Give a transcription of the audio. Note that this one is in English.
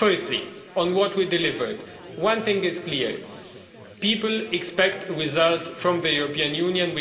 Firstly, on what we delivered, one thing is clear people expect results from the European Union.